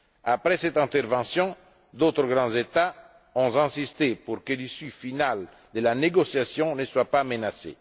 Après cette intervention, d'autres grands États ont insisté pour que l'issue finale de la négociation ne soit pas menacée.